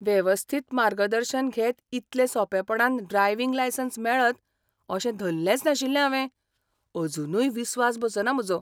वेवस्थीत मार्गदर्शन घेत इतले सोंपेपणान ड्रायविंग लायसन्स मेळत अशें धल्लेंच नाशिल्लें हावें. अजूनय विस्वास बसना म्हजो.